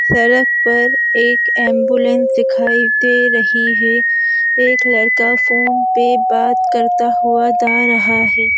सड़क पर एक एम्बुलेंस दिखाई दे रही है एक लड़का फोन पे बात करता हुआ दा रहा है।